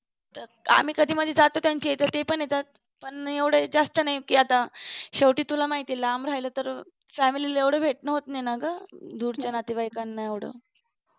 आम्ही कधी कशी जातो त्यांच्याइथ कधी कधी ते पण येतात पण नाही कि एवढं जास्त नाही कि आता शेवटी तुला माहितेय कि लांब राहील तर family ला एवढं भेटणं होत नाही ना ग दूरच्या नातेवाईकांना एवढं